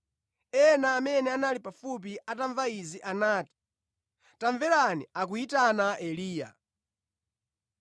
Ena amene anali pafupi atamva izi anati, “Tamverani, akuyitana Eliya.”